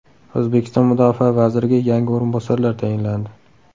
O‘zbekiston mudofaa vaziriga yangi o‘rinbosarlar tayinlandi.